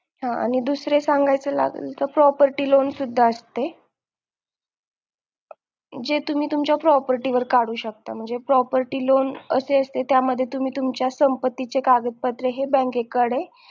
हं आणि दुसरं सांगायचं म्हणलं तर Property loan सुद्धा असते जे तुम्ही तुमच्या property वर काढू शकता म्हणजे property loan असे असते त्यामध्ये तुम्ही तुमच्या संपत्ती चे कागदपत्रे हे bank कडे